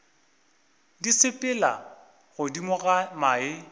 di sepela godimo ga mae